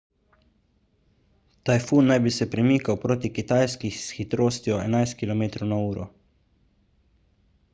tajfun naj bi se premikal proti kitajski s hitrostjo 11 km/h